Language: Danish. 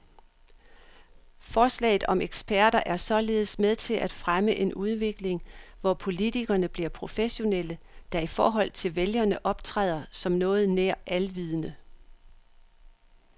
Forslaget om eksperter er således med til at fremme en udvikling, hvor politikerne bliver professionelle, der i forhold til vælgerne optræder som noget nær alvidende.